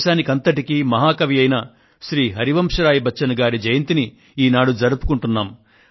మన దేశానికంతటికీ మహాకవి అయిన శ్రీమాన్ హరివంశ్ రాయ్ బచ్చన్ గారి జయంతిని ఈనాడు జరుపుకుంటున్నాం